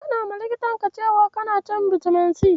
Ka faɗawa likitanka cewa kana shan bitamin C.